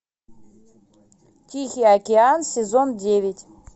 тихий океан сезон девять